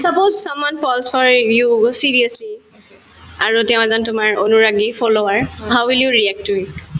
suppose someone falls for you seriously আৰু তেওঁ এজন তোমাৰ অনুৰাগী follower how will you react to it